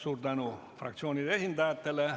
Suur tänu fraktsioonide esindajatele!